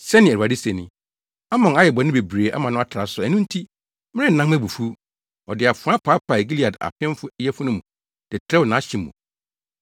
Sɛnea Awurade se ni: “Amon ayɛ bɔne bebree ama no atra so, ɛno nti, merennan mʼabufuw. Ɔde afoa paapaee Gilead apemfo yafunu mu de trɛw nʼahye mu.